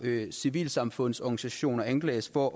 civilsamfundsorganisationer anklages for